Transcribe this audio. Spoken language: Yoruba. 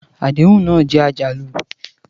Àdéhùn náà jẹ́ àjálù.